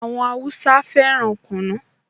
Àwọn Háúsá fẹ́ràn kunu